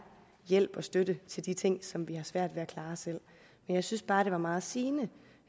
hjælp og støtte til de ting som vi har svært ved at klare selv men jeg synes bare det var meget sigende